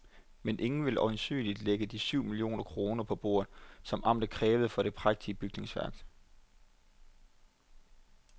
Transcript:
Men ingen vil øjensynligt lægge de syv millioner kroner på bordet, som amtet kræver for det prægtige bygningsværk.